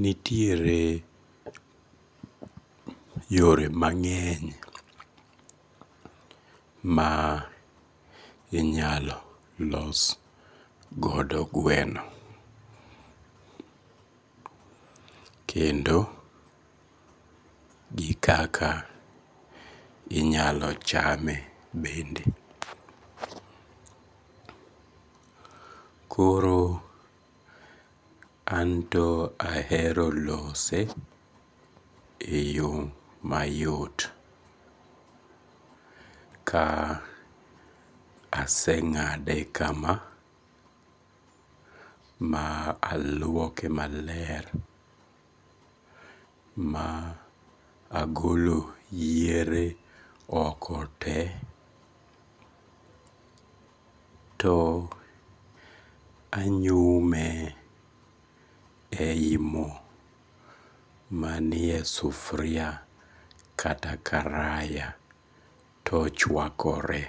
nitiere yore mang'eny ma inyalo los godo gweno. Kendo gi kaka inyalo chame bende. Koro an to ahero lose eyo mayot ka aseng'ade kama ma aluoke maler ma agolo yiere oko te to anyume ei mo manie sufuria kata karaya to ochuakore.